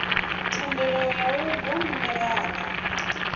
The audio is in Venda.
thendelo ya u gwa minerala